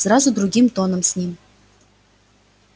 сразу другим тоном с ним